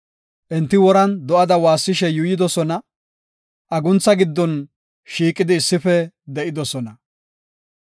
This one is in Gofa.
Enti woran do7ada waassishe yuuyidosona; aguntha giddon shiiqidi issife de7idosona.